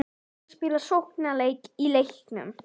Á að spila sóknarleik í leiknum?